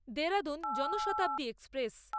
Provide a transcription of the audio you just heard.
Dehradun Janshatabdi express